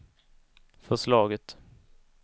förslaget